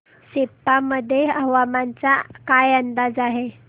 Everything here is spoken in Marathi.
सेप्पा मध्ये हवामानाचा काय अंदाज आहे